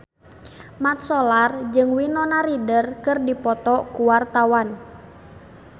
Mat Solar jeung Winona Ryder keur dipoto ku wartawan